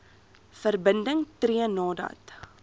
verbinding tree nadat